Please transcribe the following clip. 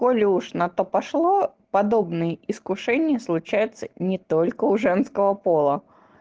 коли уже на то пошло подобные искушение случается не только у женского пола